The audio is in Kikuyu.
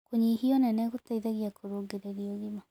Kũnyĩhĩa ũnene gũteĩthagĩa kũrũngĩrĩrĩa ũgima